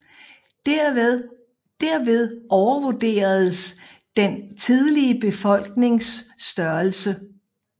Derved overvurderes den tidlige befolknings størrelse